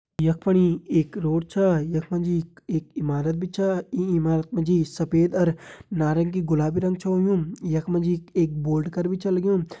यख फणि एक रोड छा यख मा जी एक-एक इमारत भी छा ईं इमारत मा जी सफ़ेद अर नारंगी गुलाबी रंग छ होयुं यख मा जी एक बोर्ड कर भी छ लग्युं।